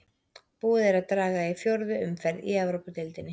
Búið er að draga í fjórðu umferð í Evrópudeildinni.